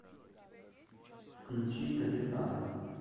включи капитан